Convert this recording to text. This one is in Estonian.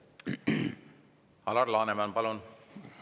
Alar Laneman, palun!